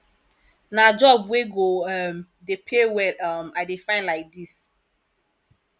na job wey go um dey pay well um i dey find lai dis